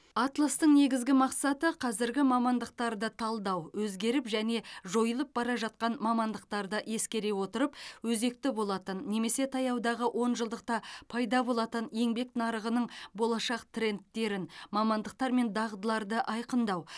атластың негізгі мақсаты қазіргі мамандықтарды талдау өзгеріп және жойылып бара жатқан мамандықтарды ескере отырып өзекті болатын немесе таяудағы онжылдықта пайда болатын еңбек нарығының болашақ трендтерін мамандықтар мен дағдыларды айқындау